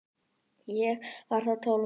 Ég var þá tólf ára.